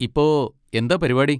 ഇപ്പൊ എന്താ പരിപാടി?